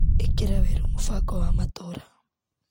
ĩkĩra werũ mũbango wa matũra.